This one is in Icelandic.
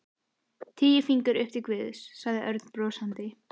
Tíu fingur upp til Guðs, sagði Örn brosandi.